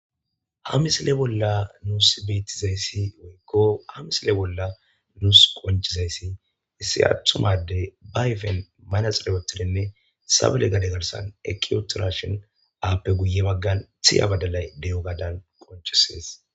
hamisile bolla nuus beettizayssi woykko hamisile bolla nuus qonchizayssi issi atthumade bayfen manaxirepotidenne sabele gade ggarsan ekiyotirashon aappe guye baggan thiya badalay de7o gadan qonchisees